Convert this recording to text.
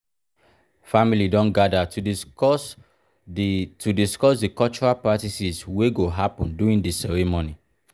family don gather to discuss di to discuss di cultural practices wey go happen during di ceremony.